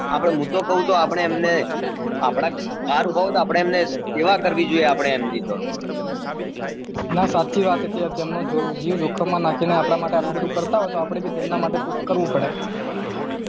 આપને મુ તો કઉ તો આપને આપને એમને બાર ઉભા હોય તો આપને સેવા કરવી જોઈએ આપને એમની તો ના સાચી વાત છે એમનો જીવ જોખમ માં નાખી ને આપડા માટે આટલું કરતા હોય આપડે ભી એમના માટે કોક કરવું પડે